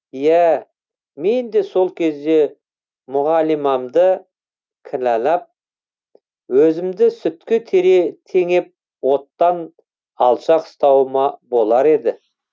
ия менде сол кезде мұғалимамды кінәлап өзімді сүтке теңеп оттан алшақ ұстауыма болар еді